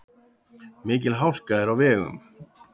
Mikil hálka er á vegum.